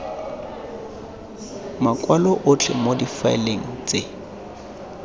makwalo otlhe mo difaeleng tse